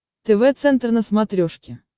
тв центр на смотрешке